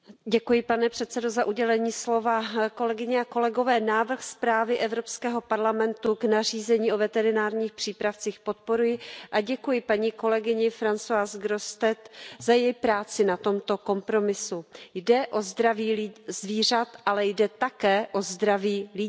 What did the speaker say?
Pane předsedající, kolegyně a kolegové, návrh zprávy Evropského parlamentu o nařízení o veterinárních přípravcích podporuji a děkuji paní kolegyni Françoise Grossetêtové za její práci na tomto kompromisu. Jde o zdraví zvířat, ale jde také o zdraví lidí.